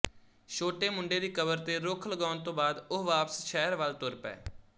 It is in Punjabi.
ਛੋਟੇ ਮੁੰਡੇ ਦੀ ਕਬਰ ਤੇ ਰੁੱਖ ਲਗਾਉਣ ਤੋਂ ਬਾਅਦ ਉਹ ਵਾਪਸ ਸ਼ਹਿਰ ਵੱਲ ਤੁਰ ਪਏ